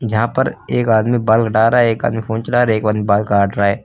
यहां पर एक आदमी बाल कटा रहा है। एक आदमी फोन चला रहा है। एक आदमी बाल काट रहा है।